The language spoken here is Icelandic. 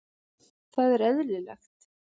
Það er eðlilegt